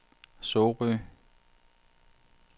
Sorø